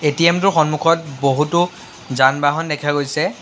এটিএমটোৰ সন্মুখত বহুতো যান বাহন দেখা গৈছে।